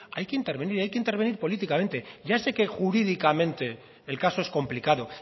hay que intervenir hay que intervenir políticamente ya sé que jurídicamente el caso es complicado